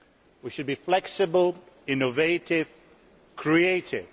We should be flexible, innovative and creative.